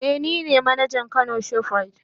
Eh nine manajan kano shoprite.